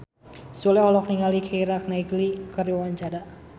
Sule olohok ningali Keira Knightley keur diwawancara